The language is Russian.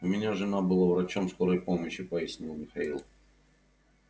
у меня жена была врачом скорой помощи пояснил михаил